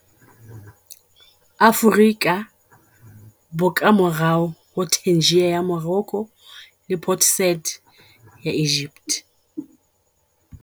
Aforika, bo ka morao ho Tangier ya Morocco le Port Said ya Egypt.